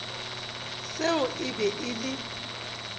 seo e be e le